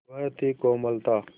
वह थी कोमलता